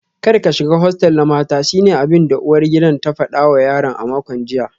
Kar ka shiga hostel na mata shine abinda uwar gidan ta fada wa yaron a makon jiya